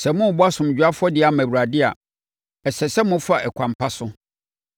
“Sɛ morebɔ asomdwoeɛ afɔdeɛ ama Awurade a, ɛsɛ sɛ mofa ɛkwan pa so,